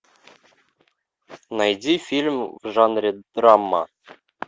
найди фильм в жанре драма